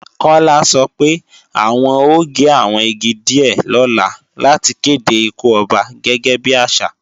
Kọ́lá sọ pé, àwọn ó gé àwọn igi díè lọ́la láti kède ikú Ọba gẹ́gẹ́ bí àṣà